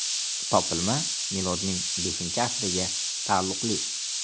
Topilma milodning V asriga taalluqli.